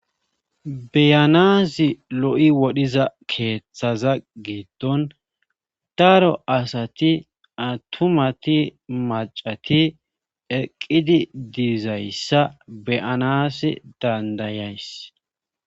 Beyanaazi lo7i wodhiza keeththaza geeton daro asati attumati macati eqqidi diizayssa beyanas dandayays